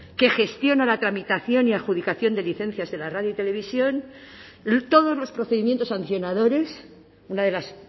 que gestiona la tramitación y adjudicación de licencias de la radio y televisión todos los procedimientos sancionadores una de las